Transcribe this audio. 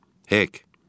Hek.